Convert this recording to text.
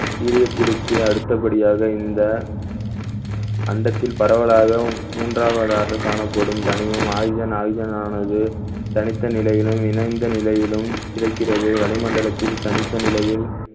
helium த்திற்கு அடுத்தபடியாக இந்த அண்டத்தில் பரவலாகவும் மூன்றாவதாக காணப்படும் தனிமம் oxygen oxygen ஆனது தனித்த நிலையிலும் இணைந்த நிலையிலும் கிடைக்கிறது வளிமண்டலத்தில் தனித்த நிலையில்